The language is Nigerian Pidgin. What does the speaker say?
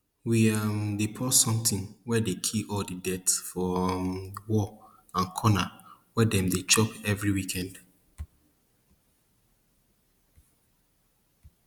we um dey pour something wey dey kill all the dirt for um wall and corner wey dem dey chop every weekend